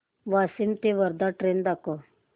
वाशिम ते वर्धा ची ट्रेन दाखव